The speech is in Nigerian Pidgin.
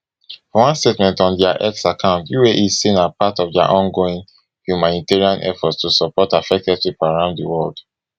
for one statement on dia x account uae say na part of dia ongoing humanitarian efforts to support affected pipo around di world